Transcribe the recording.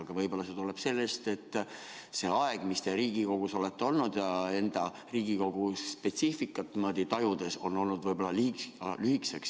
Aga võib-olla see tuleb sellest, et see aeg, mis te Riigikogus olete olnud ja Riigikogu spetsiifikat tajunud, on liiga lühike.